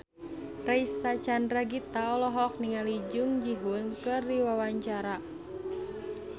Reysa Chandragitta olohok ningali Jung Ji Hoon keur diwawancara